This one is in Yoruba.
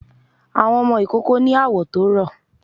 Àwọn ọmọ ìkoko ni awọ̀ tó rọ